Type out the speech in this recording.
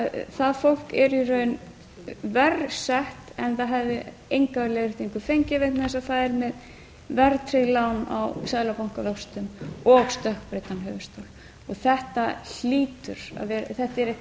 það fólk er í raun verr sett en það hefði enga leiðréttingu fengið vegna þess að það er með verðtryggð lán á seðlabankavöxtum og stökkbreyttan höfuðstól þetta er eitthvað